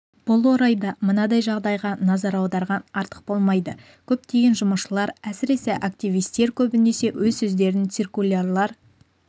бұл орайда мынадай жағдайға назар аударған артық болмайды көптеген жұмысшылар әсіресе активистер көбінесе өз сөздерін циркулярлар